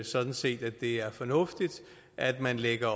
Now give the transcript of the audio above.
sådan set at det er fornuftigt at man lægger